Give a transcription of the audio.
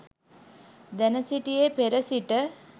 දැන සිටියේ පෙර සිට